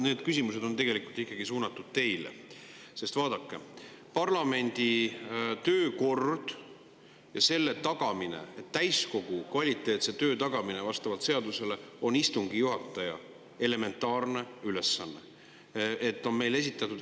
Need küsimused on tegelikult ikkagi suunatud teile, sest vaadake, parlamendi töökord ja selle tagamine, täiskogu kvaliteetse töö tagamine on vastavalt seadusele istungi juhataja elementaarne ülesanne.